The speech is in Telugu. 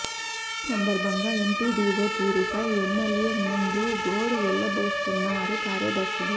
ఈ సందర్బంగా ఎంపీడీవో తీరుపై ఎమ్మెల్యే ముందు గోడు వెళ్లబోసుకున్నారు కార్యదర్శులు